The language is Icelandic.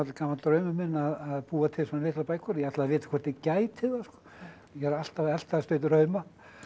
gamall draumur minn að búa til svona litlar bækur ég ætlaði að vita hvort ég gæti það ég er alltaf að eltast við drauma